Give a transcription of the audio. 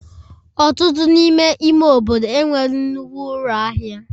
Ọtụtụ n'ime ime obodo enweghị nnukwu ụlọ ahịa